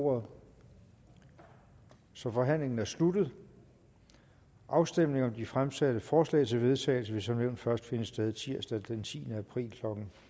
ordet så forhandlingen er sluttet afstemning om de fremsatte forslag til vedtagelse vil som nævnt først finde sted tirsdag den tiende april